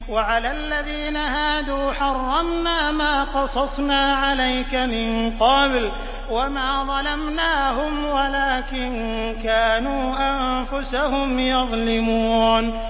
وَعَلَى الَّذِينَ هَادُوا حَرَّمْنَا مَا قَصَصْنَا عَلَيْكَ مِن قَبْلُ ۖ وَمَا ظَلَمْنَاهُمْ وَلَٰكِن كَانُوا أَنفُسَهُمْ يَظْلِمُونَ